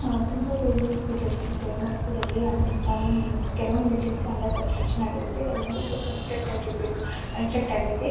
ತುಂಬಾ ಬಿಲ್ಡಿಂಗ್ಸ್ ಇರುತ್ತೆ ಮೈಸೂರಲ್ಲಿ ಅಂಡರ್ ಕನ್ಸ್ಟ್ರಕ್ಷನ್ ಆಗಿರುತ್ತೆ ಕೆಲವೊಂದು ಫುಲ್ ಕನ್ಸ್ಟ್ರಕ್ಟ್ ಆಗಿರಬೇಕು ಕನ್ಸ್ಟ್ರಕ್ಟ್ ಆಗಿದೆ.